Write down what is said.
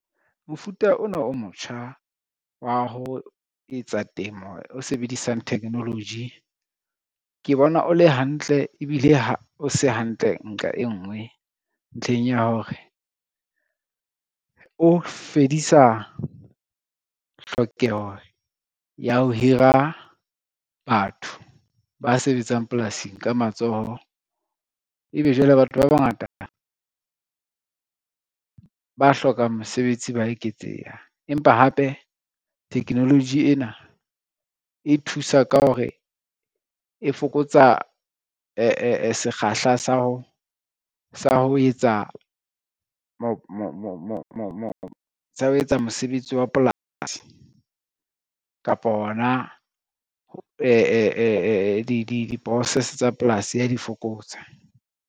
Mofuta ona o motjha wa ho etsa temo o sebedisang technology, ke bona o le hantle ebile o se hantle nqa e ngwe ntlheng ya hore, o fedisa tlhokeho ya ho hira batho ba sebetsang polasing ka matsoho. Ebe jwale batho ba bangata, ba hlokang mosebetsi ba eketseha, empa hape technology ena e thusa ka hore e fokotsa sekgahla sa ho etsa mosebetsi wa polasi kapo hona di-process tsa polasi ya di fokotsa.